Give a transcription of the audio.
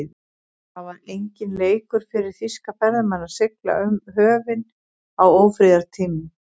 Það var enginn leikur fyrir þýska farmenn að sigla um höfin á ófriðartímum.